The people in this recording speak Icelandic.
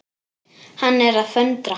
Hann er að föndra.